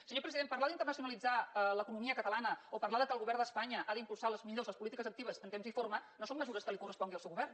senyor president parlar d’internacionalitzar l’economia catalana o parlar que el govern d’espanya ha d’impulsar les millors polítiques actives en temps i forma no són mesures que li correspongui al seu govern